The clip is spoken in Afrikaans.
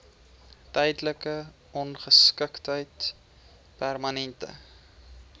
tydelike ongeskiktheid permanente